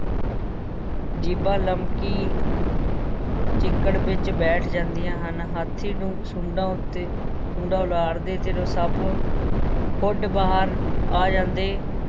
ਜੀਭਾਂ ਲਮਕੀ ਚਿੱਕੜ ਵਿਚ ਬੈਠ ਜਾਂਦੀਆਂ ਹਨ, ਹਾਥੀ ਨੂੰ ਸੁੰਡਾਂ ਉੱਤੇ ਸੁੰਡਾਂ ਉਲਾਰਦੇ ਤੇ ਸੱਪ ਖੁੱਡ ਬਾਹਰ ਆ ਜਾਂਦੇ,